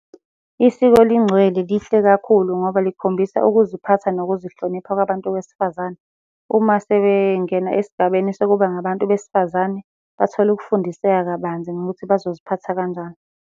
Isiko lingcwele lihle kakhulu ngoba likhombisa ukuziphatha nokuzihlonipha kwabantu wesifazane. Uma sebengena esigabeni sokuba ngabantu besifazane bathola ukufundiseka kabanzi ngokuthi bazoziphatha kanjani.